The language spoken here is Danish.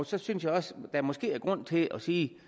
så synes jeg også at der måske er grund til at sige